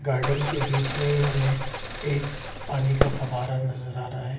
Garden के बीच में ही हमें एक पानी का फवारा नजर आ रहा है।